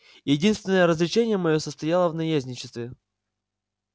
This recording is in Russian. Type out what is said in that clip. единственное развлечение моё состояло в наездничестве